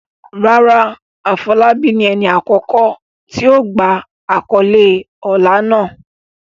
Rárá, Afolabi ni ẹni àkọ́kọ́ tí ó gba àkọ́lé ọlá náà.